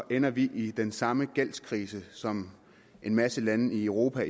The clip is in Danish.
ender vi i den samme gældskrise som en masse lande i europa